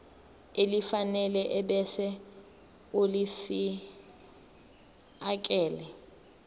elifanele ebese ulifiakela